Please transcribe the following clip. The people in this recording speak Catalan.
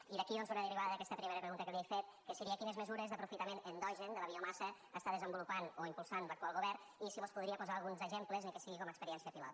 i d’aquí doncs una derivada d’aquesta primera pregunta que li he fet que seria quines mesures d’aprofitament endogen de la biomassa està desenvolupant o impulsant l’actual govern i si mos podria posar alguns exemples ni que sigui com a experiència pilot